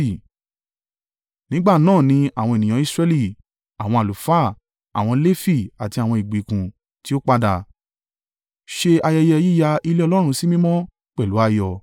Nígbà náà ni àwọn ènìyàn Israẹli—àwọn àlùfáà, àwọn Lefi àti àwọn ìgbèkùn tí ó padà, ṣe ayẹyẹ yíya ilé Ọlọ́run sí mímọ́ pẹ̀lú ayọ̀.